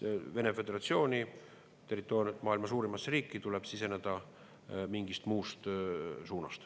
Vene föderatsiooni territooriumile, maailma suurimasse riiki tuleb siseneda mingist muust suunast.